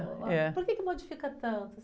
É.or que que modifica tanto?